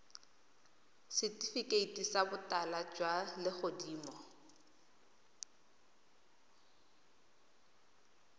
setifikeiti sa botala jwa legodimo